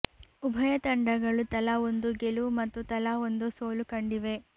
ಉಭಯ ತಂಡಗಳು ತಲಾ ಒಂದು ಗೆಲುವು ಮತ್ತು ತಲಾ ಒಂದು ಸೋಲು ಕಂಡಿವೆ